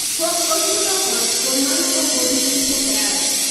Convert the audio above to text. pok ochulo ot kuom mano ok obi uso kae